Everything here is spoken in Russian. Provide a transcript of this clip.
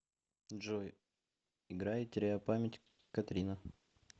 джой играй теряю память катерина